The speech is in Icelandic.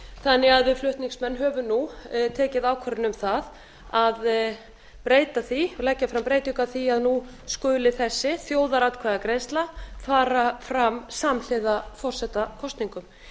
þannig að við flutningsmenn höfum nú tekið ákvörðun um það að breyta því og leggja fram breytingu því að nú skuli þessi þjóðaratkvæðagreiðsla fara fram samhliða forsetakosningum